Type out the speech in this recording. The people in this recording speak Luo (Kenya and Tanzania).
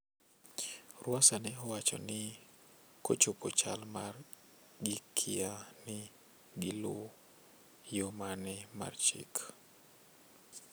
Rwasa ne owacho ni kochopo chal mar gikia ni gi luw yo mane mar chik